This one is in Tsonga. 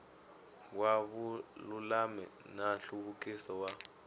wa vululami na nhluvukiso wa